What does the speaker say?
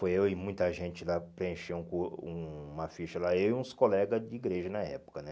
Foi eu e muita gente lá, preencheu o hum uma ficha lá, eu e uns colegas de igreja na época, né?